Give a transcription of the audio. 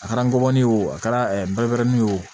A kɛra ngɔmɔni ye o a kɛra ye o